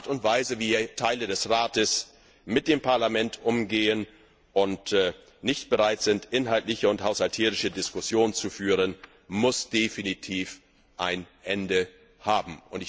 Die Art und Weise, wie Teile des Rates mit dem Parlament umgehen und nicht bereit sind, inhaltliche und haushalterische Diskussionen zu führen, muss definitiv ein Ende haben.